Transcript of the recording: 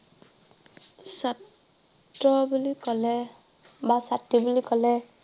ছাত্ৰ বুলি কলে বা ছাত্ৰী বুলি কলে